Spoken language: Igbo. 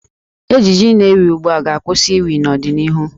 Ejiji na-ewi ugbu a ga-akwụsị iwi n'ọdịnihu.